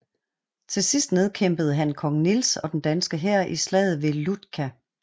Til sidst nedkæmpede han kong Niels og den danske hær i slaget ved Ljutka